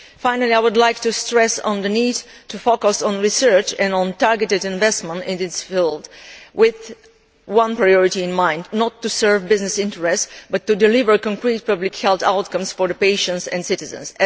Finally, I would like to stress the need to focus on research, and on targeted investment in this field, with one priority in mind not to serve business interests but to deliver concrete public health outcomes for patients and citizens.